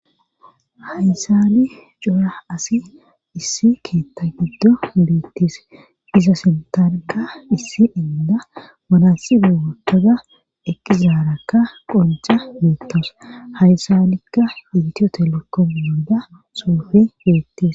HaysaNI cora asi issi keeththa giddo beettis iza sinthanka issi inda manassi digotoda eqqizaarakka qonca beettos haysalikka intiyotelekko munda suufe beettis.